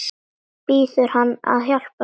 Biður hann að hjálpa sér.